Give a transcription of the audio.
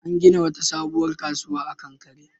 An gina sabuwar kasuwa a kankare